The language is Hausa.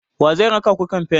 wa zai raka ku kamfen?